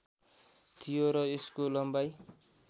थियो र यसको लम्बाइ